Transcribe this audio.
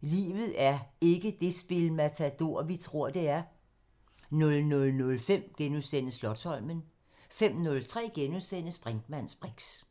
Livet er ikke det spil Matador, vi tror det er.... * 00:05: Slotsholmen * 05:03: Brinkmanns briks *